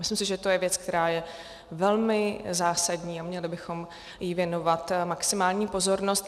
Myslím si, že to je věc, která je velmi zásadní, a měli bychom jí věnovat maximální pozornost.